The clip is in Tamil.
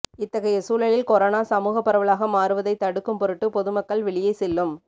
இத்தகைய சூழலில் கொரோனா சமூக பரவலாக மாறுவதை தடுக்கும் பொருட்டு பொதுமக்கள் வெளியே செல்லும்